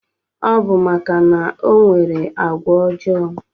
Ọbu maka na onwere agwa ojo